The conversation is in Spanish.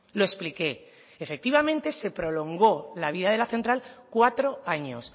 lo expliqué efectivamente se prolongó la vida de la central cuatro años